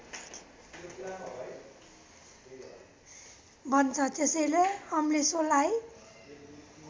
बन्छ त्यसैले अम्लिसोलाई